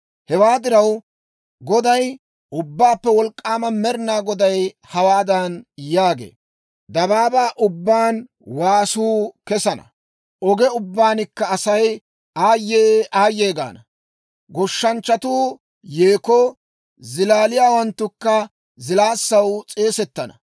Hewaa diraw, Goday, Ubbaappe Wolk'k'aama Med'inaa Goday hawaadan yaagee; «Dabaabaa ubbaan waasuu kesana; oge ubbankka asay, ‹Aayye, aayye!› gaana. Goshshanchchatuu yeekoo, zilaaliyaawanttukka zilaassaw s'eesettana.